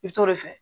I bi t'o de fɛ